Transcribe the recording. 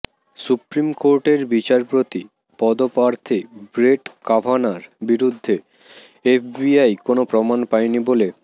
supreme কোর্টের বিচারপতি পদপ্রার্থী ব্রেট ক্যাভানার বিরুদ্ধে এফবিআই কোনও প্রমাণ পায়নি বলে